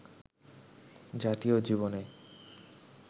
জাতীয় জীবনে